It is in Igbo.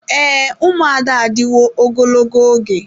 Ee, ụmụada adịwo ogologo oge.